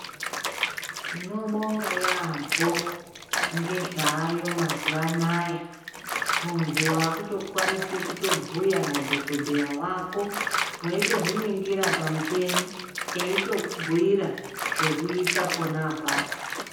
Tinobonga yaambo ngezvaayo mazuva anaya muntu wakutokwanisa kubhuya nadhokoteya wako ,waitozviningira pamuchini aitokubhuira zvekuita pona apapo